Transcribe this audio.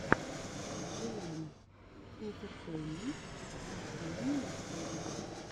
джейэм интертеймент последняя серия